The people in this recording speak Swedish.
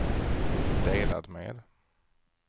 delat med